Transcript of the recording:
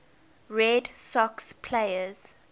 red sox players